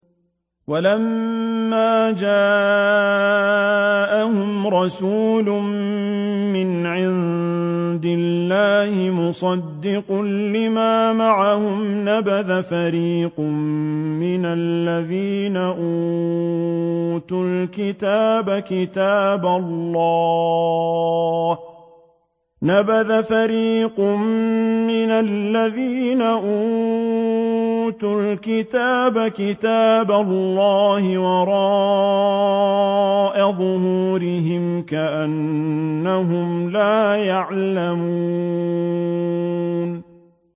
وَلَمَّا جَاءَهُمْ رَسُولٌ مِّنْ عِندِ اللَّهِ مُصَدِّقٌ لِّمَا مَعَهُمْ نَبَذَ فَرِيقٌ مِّنَ الَّذِينَ أُوتُوا الْكِتَابَ كِتَابَ اللَّهِ وَرَاءَ ظُهُورِهِمْ كَأَنَّهُمْ لَا يَعْلَمُونَ